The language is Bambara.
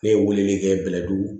Ne ye weleli kɛ bɛlɛdugu